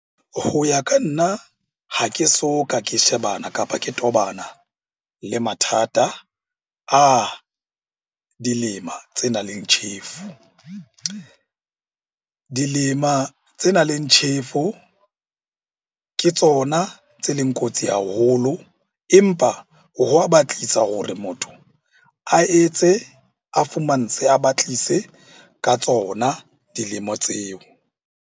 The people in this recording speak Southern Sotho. Ho ya ka nna, ha ke soka ke shebana kapa ke tobana le mathata a dilema tse nang le tjhefo. Dilema tse nang le tjhefo ke tsona tse leng kotsi haholo. Empa ho wa batlisa hore motho a etse, a fumantshe, a batlise ka tsona dilemo tseo.